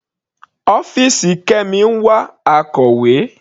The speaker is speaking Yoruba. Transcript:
Ọ́fìsì Kemi ń wá akọ̀wé.